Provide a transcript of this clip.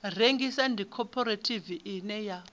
rengisa ndi khophorethivi ine ya